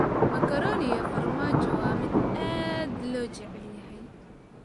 Macaroni iyo farmaajo waa mid aad loo jecel yahay.